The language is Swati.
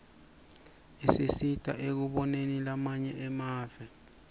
tisisita ekuboneni lamanye emave